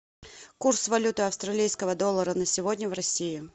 курс валюты австралийского доллара на сегодня в россии